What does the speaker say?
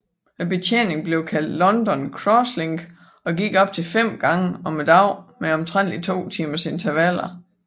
Betjeningen blev kaldet London Crosslink og gik op til fem gange om dagen med omtrentligt to timers intervaler